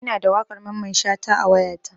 Ina da waƙar Mamman Shata a wayata.